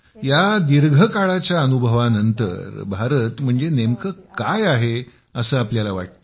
या दीर्घकाळाच्या अनुभवानंतर भारताचे तुमच्या दृष्टीने काय महत्त्व आहे असं तुम्हाला वाटतं